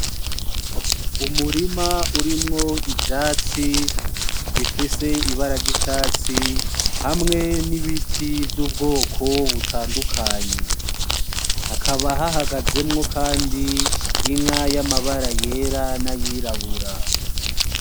Umurima urimwo ivyatsi bifise ibara ry'icatsi hamwe n'ibiti vy'ubwoko butandukanye hakaba hahagazemwo kandi inka yamabara yera n'ayirabura .